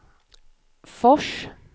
Fors